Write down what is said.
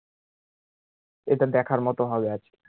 এটা দেখার মতো হবে আরকি